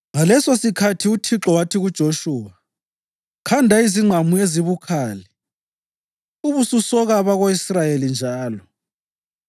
Ngalesosikhathi uThixo wathi kuJoshuwa, “Khanda izingqamu ezibukhali ubususoka abako-Israyeli njalo.”